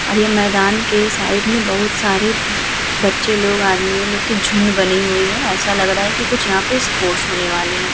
और ये मैदान के साइड में बहोत सारे बच्चे लोग आदमियों लोग के झुण्ड बने हुए हैं। ऐसा लग रहा है कि कुछ यहाँ पर स्पोर्ट्स होने वाले हैं।